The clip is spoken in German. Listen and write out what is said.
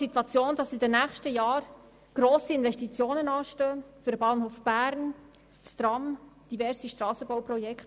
Weiter werden in den nächsten Jahren grosse Investitionen anstehen, etwa für den Bahnhof Bern, für das Tram Ostermundigen oder für diverse Strassenbauprojekte.